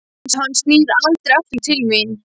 Hvað ef hann snýr aldrei aftur til mín?